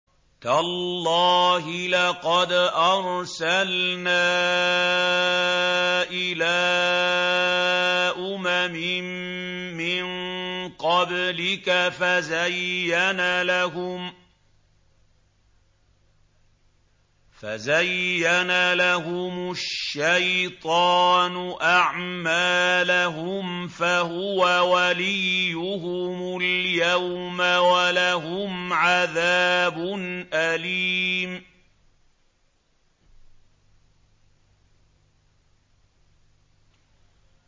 تَاللَّهِ لَقَدْ أَرْسَلْنَا إِلَىٰ أُمَمٍ مِّن قَبْلِكَ فَزَيَّنَ لَهُمُ الشَّيْطَانُ أَعْمَالَهُمْ فَهُوَ وَلِيُّهُمُ الْيَوْمَ وَلَهُمْ عَذَابٌ أَلِيمٌ